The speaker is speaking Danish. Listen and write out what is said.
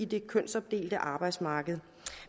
det kønsopdelte arbejdsmarked